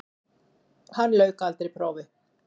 Hann lauk aldrei prófi.